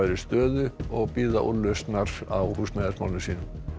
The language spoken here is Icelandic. stöðu bíða úrlausnar á húsnæðismálum sínum